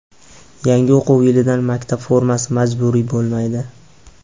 Yangi o‘quv yilidan maktab formasi majburiy bo‘lmaydi.